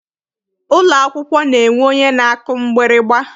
Ụlọ akwụkwọ na-enwe onye na-akụ mgbịrịgba.